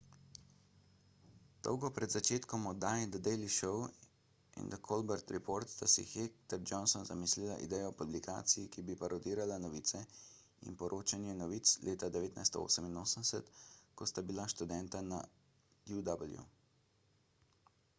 dolgo pred začetkom oddaj the daily show in the colbert report sta si heck ter johnson zamislila idejo o publikaciji ki bi parodirala novice – in poročanje novic – leta 1988 ko sta bila študenta na uw